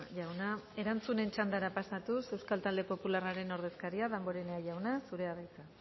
jauna erantzunen txandara pasatuz euskal talde popularraren ordezkaria damborenea jauna zurea da hitza